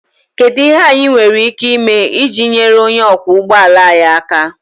Kedu ihe anyị nwere ike ime iji nyere onye ọkwọ ụgbọ ala anyị aka?